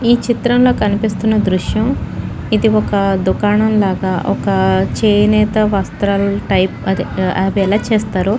ఈ చిత్రంలో కనిపిస్తున్న దృశ్యం ఇది ఒక్క దుకాణంలాగా ఒక్కా చేనేత వస్త్ర టైప్ అదే అది ఎలా చేస్తారో --